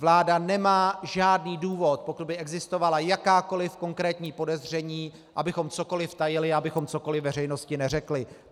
Vláda nemá žádný důvod, pokud by existovala jakákoli konkrétní podezření, abychom cokoli tajili, abychom cokoli veřejnosti neřekli.